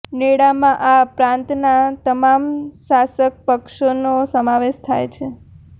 નેડામાં આ પ્રાંતના તમામ શાસક પક્ષોનો સમાવેશ થાય છે